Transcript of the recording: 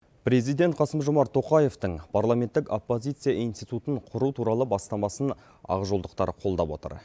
президент қасым жомарт тоқаевтың парламенттік оппозиция институтын құру туралы бастамасын ақжолдықтан қолдап отыр